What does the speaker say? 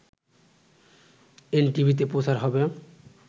এনটিভিতে প্রচার হবে